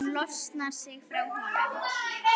Hún losar sig frá honum.